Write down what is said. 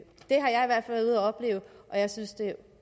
opleve og jeg synes det er